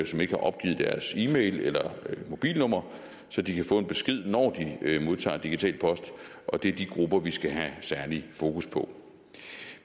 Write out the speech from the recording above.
som ikke har opgivet deres e mail eller mobilnummer så de kan få en besked når de modtager digital post og det er de grupper vi skal have særligt fokus på